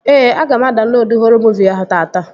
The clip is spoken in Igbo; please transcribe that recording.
Ee, aga m adaunlodu họrọ muuvi ahụ taata